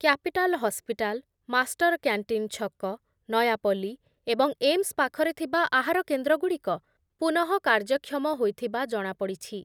capital hospital master canteen ଛକ, ନୟାପଲ୍ଲି ଏବଂ AIIMS ପାଖରେ ଥିବା ଆହାରକେନ୍ଦ୍ରଗୁଡ଼ିକ ପୁନଃ କାର୍ଯ୍ୟକ୍ଷମ ହୋଇଥିବା ଜଣାପଡ଼ିଛି